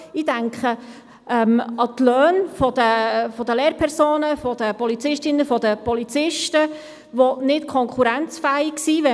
Ich denke an die Löhne der Lehrpersonen, der Polizistinnen und Polizisten, welche nicht konkurrenzfähig sind.